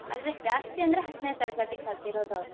ಆದ್ರೆ ಜಾಸ್ತಿ ಅಂದ್ರೆ ಹತ್ತನೇ ತರಗತಿ ಕಲ್ತಿರೋದು ಅವ್ರು.